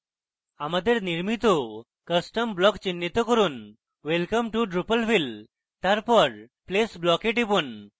আমাদের নির্মিত custom block চিহ্নিত করুনwelcome to drupalville তারপর place block we টিপুন